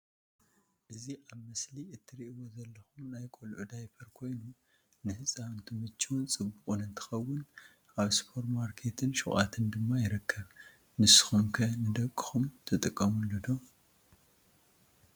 እዚ ኣብ ምስሊ ትርኢዎ ዘለኩም ናይ ቆልዑ ዳይፔር ኮይኑ ንህፃውንቲ ምችውን ፅቡቅን እንትኸውን ኣብ ስፖርማርኬታትን ሹቃትን ድማ ይርከብ። ንስኩም ከ ንደቁኩም ትጥቀሙሉ ዶ?